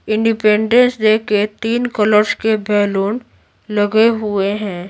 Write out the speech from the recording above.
Independence day के तीन colours के बैलून लगे हुए हैं।